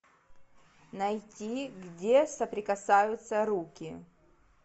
найти где соприкасаются руки